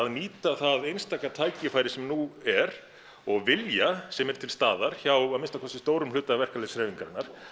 nýta það einstaka tækifæri sem nú er og vilja sem er til staðar hjá að minnsta kosti stórum hluta verkalýðshreyfingarinnar